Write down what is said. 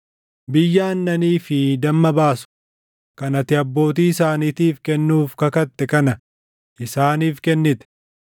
Biyya aannanii fi damma baasu kan ati abbootii isaaniitiif kennuuf kakatte kana isaaniif kennite.